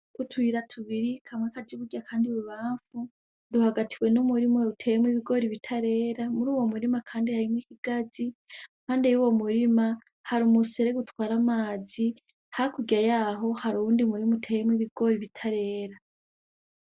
Utuyira tubiri kamwe kaja iburyo akandi ibubamfu, ruhagatiwe n'umurima utewemwo ibigori bitarera muri uwo murima kandi harimwo ikigazi. Kandi muri uwo murima hari umuserege utwara amazi, hakurya yaho hari uwundi murima uteyemwo ibigori bitarera.